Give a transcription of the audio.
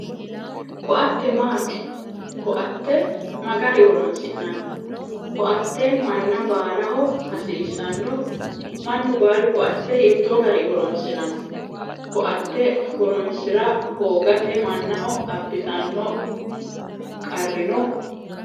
Ko"atte maati? Ko"atte ma gari horonsi'nanni? ko"atte manna baalaho hasiissanno? Mannu baalu ko"atte hiittoo gari horonsiranno? ko"atte horonsira hoogate mannaho abbitanno qarri no?